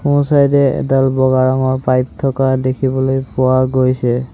সোঁ চাইদ এ এডাল বগা ৰঙৰ পাইপ থকা দেখিবলৈ পোৱা গৈছে।